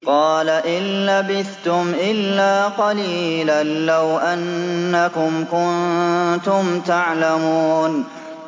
قَالَ إِن لَّبِثْتُمْ إِلَّا قَلِيلًا ۖ لَّوْ أَنَّكُمْ كُنتُمْ تَعْلَمُونَ